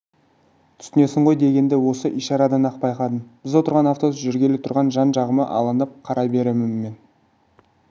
түсінесің ғой дегенді осы ишарадан-ақ байқадым біз отырған автобус жүргелі тұр жан-жағыма алаңдап қарай беремін мен